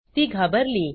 ती घाबरली